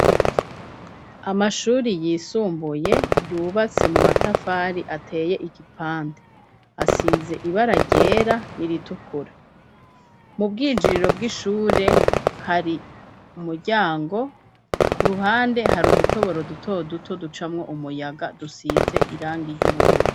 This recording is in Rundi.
Amashuri yisumbuye yubatse mu matafari ateye igipante asize ibara ryera ni iritukura mu bwinjiriro bw'ishure hari umuryango ku ruhande hari udutoboro duto duto ducamwo umuyaga dusize irangiryo ubururwa.